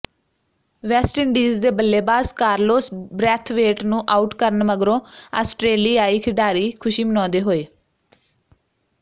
West Indies ਦੇ ਬੱਲੇਬਾਜ਼ Carlos Brathwaite ਨੂੰ ਆਊਟ ਕਰਨ ਮਗਰੋਂ ਆਸਟਰੇਲਿਆਈ ਖਿਡਾਰੀ ਖੁਸ਼ੀ ਮਨਾਉਂਦੇ ਹੋਏ